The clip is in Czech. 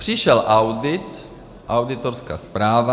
Přišel audit, auditorská zpráva.